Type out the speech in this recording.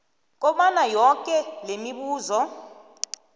kobana yoke lemibuzo